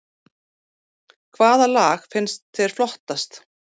Hvaða lag fannst þér flottast